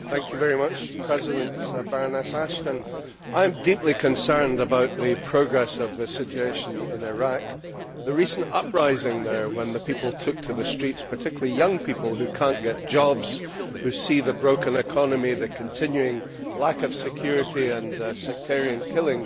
Mr President, Baroness Ashton, I am deeply concerned about the progress of the situation in Iraq. The recent uprising there when the people took to the streets, particularly young people who cannot get jobs, who see the broken economy, the continuing lack of security and sectarian killings